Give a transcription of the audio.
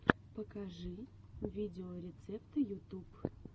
покажи видеорецепты ютуб